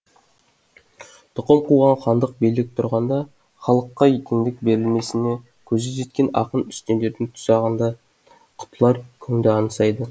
тұқым қуған хандық билік тұрғанда халыққа теңдік берілмесіне көзі жеткен ақын үстемдердің тұзағында құтылар күнді аңсайды